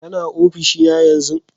Kana ofishi na yanzun?